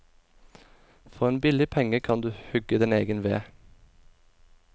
For en billig penge kan du hugge din egen ved.